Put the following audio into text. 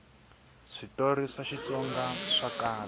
switori swa xitsonga swa kala